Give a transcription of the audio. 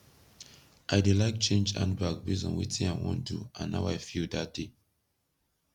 i dey laik change handbag base on wetin i wan do and how i feel dat day